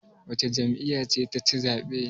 Wace jami'ya ce taci zaɓe?